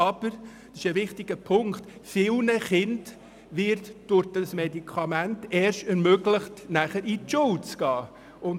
Doch vielen Kindern wird es durch dieses Medikament erst ermöglicht, zur Schule zu gehen.